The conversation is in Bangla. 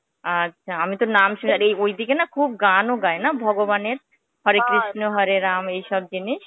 আচ্ছা, আমিতো নাম ঐদিকে না খুব গানও গায় না ভগবানের? হরে কৃষ্ণ হরে রাম এইসব জিনিস?